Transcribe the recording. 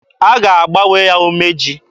A ga-agbanwe ya umeji.